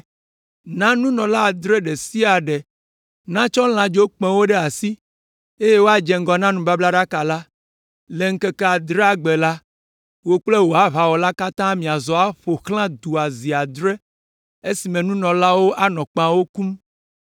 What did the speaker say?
Na nunɔla adre ɖe sia ɖe natsɔ lãdzokpẽwo ɖe asi, eye woadze ŋgɔ na nubablaɖaka la. Le ŋkeke adrelia gbe la, wò kple wò aʋawɔlawo katã miazɔ aƒo xlã du la zi adre le esime nunɔlaawo anɔ kpẽawo kum.